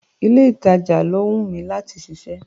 Ilé ìtajà ló wún mi láti ṣiṣẹ́.